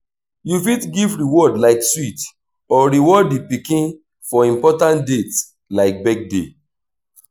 you fit give reward like sweet or reward di pikin for important dates like birthday